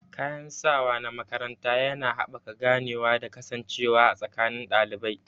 Kayan sawa na makaranta yana haɓaka ganewa da kasancewa a tsakanin ɗalibai.